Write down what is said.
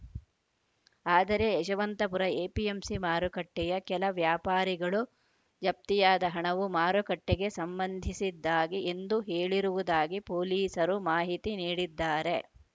ಆದರೆ ಯಶವಂತಪುರ ಎಪಿಎಂಸಿ ಮಾರುಕಟ್ಟೆಯ ಕೆಲ ವ್ಯಾಪಾರಿಗಳು ಜಪ್ತಿಯಾದ ಹಣವು ಮಾರುಕಟ್ಟೆಗೆ ಸಂಬಂಧಿಸಿದ್ದಾಗಿ ಎಂದು ಹೇಳಿರುವುದಾಗಿ ಪೊಲೀಸರು ಮಾಹಿತಿ ನೀಡಿದ್ದಾರೆ